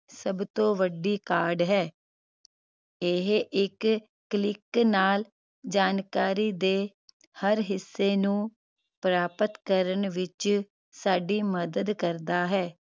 ਸਭ ਤੋਂ ਵੱਡੀ ਕਾਢ ਹੈ ਇਹ ਇਕ click ਨਾਲ ਜਾਣਕਾਰੀ ਦੇ ਹਰ ਹਿੱਸੇ ਨੂੰ ਪ੍ਰਾਪਤ ਕਰਨ ਵਿਚ ਸਾਡੀ ਮਦਦ ਕਰਦਾ ਹੈ